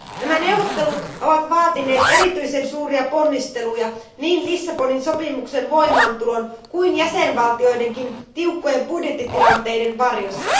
Nämä neuvottelut ovat vaatineet erityisen suuria ponnisteluja, niin Lissabonin sopimuksen voimaantulon kuin jäsenvaltioidenkin tiukkojen budjettitilanteiden varjossa.